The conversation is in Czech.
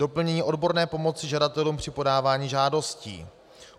Doplnění odborné pomoci žadatelům při podávání žádostí.